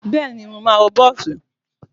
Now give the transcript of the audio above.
Bẹ́ẹ̀ni, Mo ma wọ bọ́ọ̀sì.